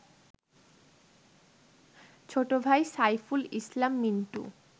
ছোট ভাই সাইফুল ইসলাম মিন্টু